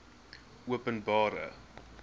openbare